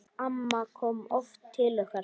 Amma kom oft til okkar.